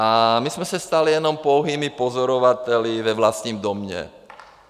A my jsme se stali jenom pouhými pozorovateli ve vlastním domě.